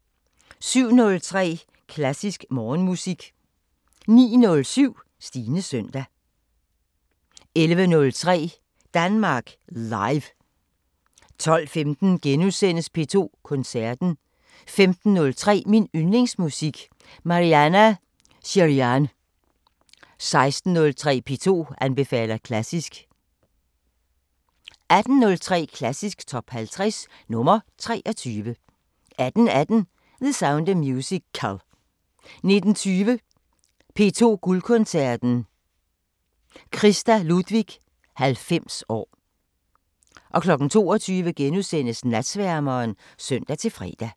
07:03: Klassisk Morgenmusik 09:07: Stines søndag 11:03: Danmark Live 12:15: P2 Koncerten * 15:03: Min Yndlingsmusik: Marianna Shirinyan 16:03: P2 anbefaler klassisk 18:03: Klassisk Top 50 – nr. 23 18:18: The Sound of Musical 19:20: P2 Guldkoncerten: Christa Ludwig 90 år 22:00: Natsværmeren *(søn-fre)